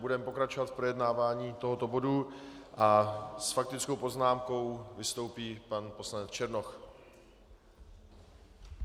Budeme pokračovat v projednávání tohoto bodu a s faktickou poznámkou vystoupí pan poslanec Černoch.